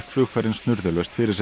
ferðin snurðulaust fyrir sig